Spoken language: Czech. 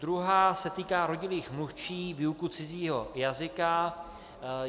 Druhá se týká rodilých mluvčích - výuka cizího jazyka.